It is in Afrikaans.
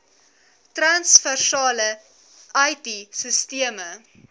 transversale it sisteme